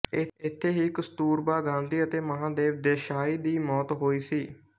ਇੱਥੇ ਹੀ ਕਸਤੂਰਬਾ ਗਾਂਧੀ ਅਤੇ ਮਹਾਦੇਵ ਦੇਸਾਈ ਦੀ ਮੌਤ ਹੋਈ ਸੀ